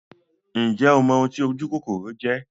Ǹjẹ́ o mọ oun ti ojúkòkòrò jẹ́?